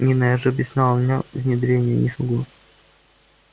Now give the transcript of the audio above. нина я же объяснял у меня внедрение я не смогу